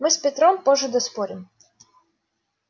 мы с петром позже доспорим